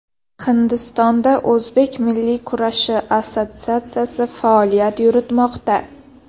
Hindistonda o‘zbek milliy kurashi assotsiatsiyasi faoliyat yuritmoqda.